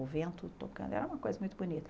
O vento tocando, era uma coisa muito bonita.